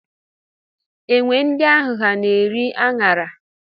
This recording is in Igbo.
Enwe ndị ahụ ha na-eri a ṅara?